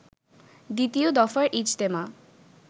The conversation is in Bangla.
দ্বিতীয় দফার ইজতেমা